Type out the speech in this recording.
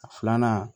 A filanan